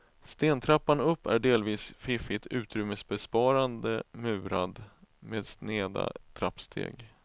Stentrappan upp är delvis fiffigt utrymmesbesparande murad med sneda trappsteg.